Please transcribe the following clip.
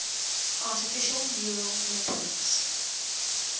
artificial neural networks